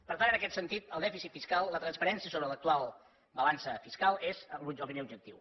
per tant en aquest sentit el dèficit fiscal la transparència sobre l’actual balança fiscal és el primer objectiu